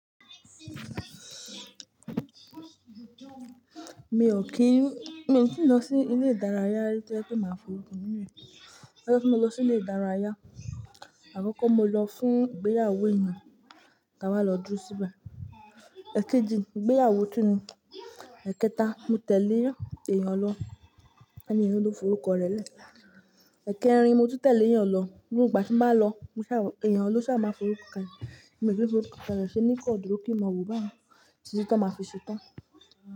Mi ò kí n, mi ò tíì lọ sí ilé ìdárayá tí o je pé máa f'orúkọ mi nù. Ojo ti mo lọ sí ilé ìdárayá, àkoko mo lọ fún ìgbéyàwó ènìyàn, kí a wá lọ dúró síbẹ̀. Èkejì, ìgbéyàwó tu ni. Ẹ̀kẹta, mo tẹ̀lé ìyàn lọ, ènìyin ló forúkọ rẹ̀ lé. Èkérin, mo tún tẹ̀lé eyàn lọ, ígbà tí mo bá lọ, ènìyàn ló sá máa forúkọ le. Mo ko le dúró kí n mọ wòó báayi, títi. Wa fi ṣetán.